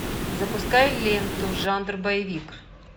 запускай ленту жанр боевик